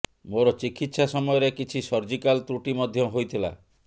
ମୋର ଚିକିତ୍ସା ସମୟରେ କିଛି ସର୍ଜିକାଲ ତ୍ରୁଟି ମଧ୍ୟ ହୋଇଥିଲା